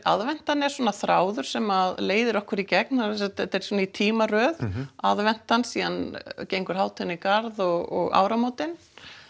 aðventan er svona þráður sem leiðir okkur í gegn þetta er svona í tímaröð aðventan síðan gengur hátíðin í garð og áramótin